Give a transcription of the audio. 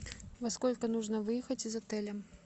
во сколько нужно выехать из отеля